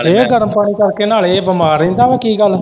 ਇਹ ਗਰਮ ਪਾਣੀ ਕਰਕੇ ਨਾਲੇ, ਇਹ ਬਿਮਾਰ ਰਹਿੰਦਾ ਵਾ ਕੀ ਗੱਲ।